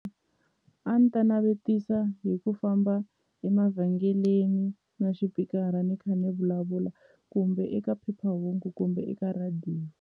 A ni ta navetisa hi ku famba emavhengeleni na xipikara ni kha ni vulavula kumbe eka phephahungu kumbe eka rhadiyo.